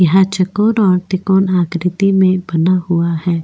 यह चकोर और त्रिकोण आकृति मै बना हुआ है।